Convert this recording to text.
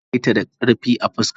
Ya mare ta da karfi a fuska.